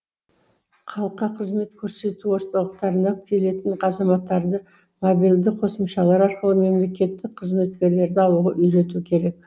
халыққа қызмет көрсету орталықтарына келетін азаматтарды мобильді қосымшалар арқылы мемлекеттік қызметкерлерді алуға үйрету керек